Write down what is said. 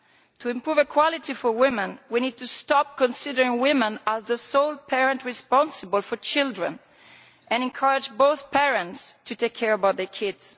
To improve equality for women we need to stop considering women as the sole parent responsible for children and encourage both parents to take care of their kids.